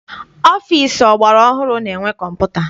Ọfịịsi ọgbara ọhụrụ na-enwe kọmputa.